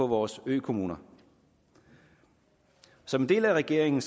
vores økommuner som en del af regeringen